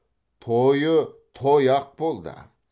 тойы той ақ болды